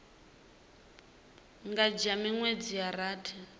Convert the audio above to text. nga dzhia miṅwedzi ya rathi